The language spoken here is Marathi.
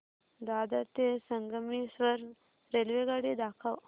दादर ते संगमेश्वर रेल्वेगाडी दाखव